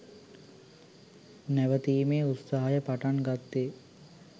නැවතීමේ උත්සාහය පටන්ගත්තෙ